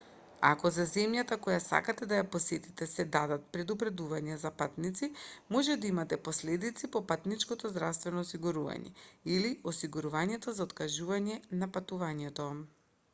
ако за земјата која сакате да ја посетите се дадат предупредувања за патници може да имате последици по патничкото здравствено осигурување или осигурувањето за откажување на патувањето